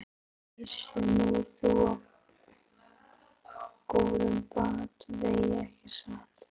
Gissur: Nú ert þú á góðum batavegi ekki satt?